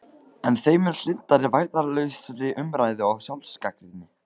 En þeim mun hlynntari vægðarlausri umræðu og sjálfsgagnrýni.